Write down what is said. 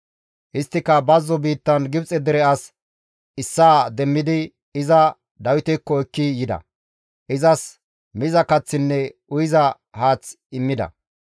Isttika bazzo biittan Gibxe dere as issaa demmidi iza Dawitekko ekki yida; izas miza kaththinne uyiza haath immida.